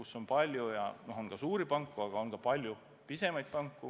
Seal on ka suuri panku, aga on palju pisemaidki panku.